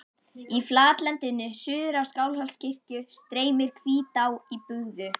Í flatlendinu suður af Skálholtskirkju streymir Hvítá í bugðu.